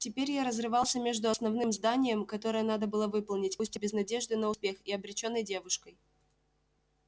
теперь я разрывался между основным зданием которое надо было выполнять пусть и без надежды на успех и обречённой девушкой